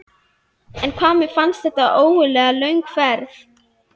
En hvað mér fannst þetta ægilega löng leið.